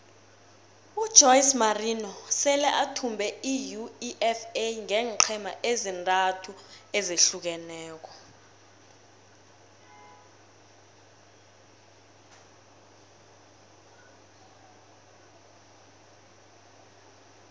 ujose morinho sele athumbe iuefa ngeenqhema ezintathu ezahlukeneko